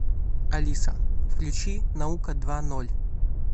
алиса включи наука два ноль